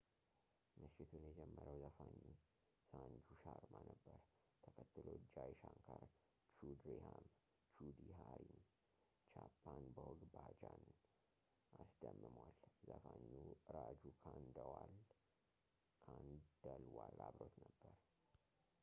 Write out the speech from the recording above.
ምሽቱን የጀመረው ዘፋኙ ሳንጁ ሻርማ ነበር ተከትሎ ጃይ ሻንካር ቹድሃሪም chhappan bhog bhajan ን አስደምሟል ዘፋኙ ራጁ ካንደልዋል አብሮት ነበር